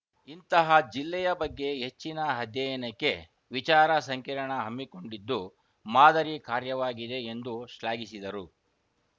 ಇಂತಹ ಜಿಲ್ಲೆಯ ಬಗ್ಗೆ ಹೆಚ್ಚಿನ ಅಧ್ಯಯನಕ್ಕೆ ವಿಚಾರ ಸಂಕಿರಣ ಹಮ್ಮಿಕೊಂಡಿದ್ದು ಮಾದರಿ ಕಾರ್ಯವಾಗಿದೆ ಎಂದು ಶ್ಲಾಘಿಸಿದರು